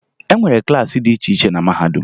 E nwere klaasị dị iche iche na mahadum